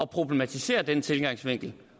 problematisere den tilgangsvinkel